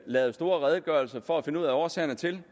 lavet store redegørelser for at finde ud af årsagerne til